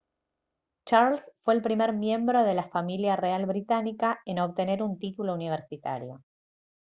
charles fue el primer miembro de la familia real británica en obtener un título universitario